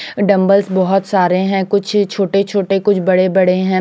Dumbbells बोहोत सारे है कुछ छोटे छोटे कुछ बड़े बड़े है।